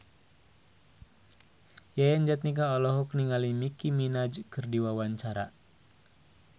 Yayan Jatnika olohok ningali Nicky Minaj keur diwawancara